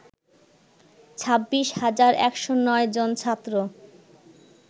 ২৬ হাজার ১০৯ জন ছাত্র